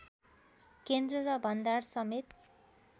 केन्द्र र भण्डार समेत